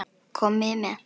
Komiði með!